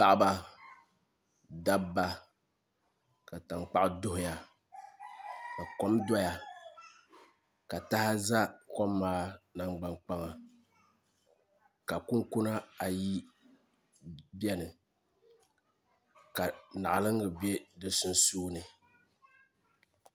Paɣaba dabba ka tankpaɣu doya ka kom doya ka taha ʒɛ kom maa nangbani kpaŋa ka kunkuna ayi biɛni ka naɣalingi bɛ di sunsuuni